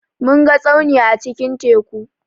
Mun ga tsauni a cikin teku.